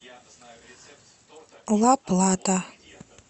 ла плата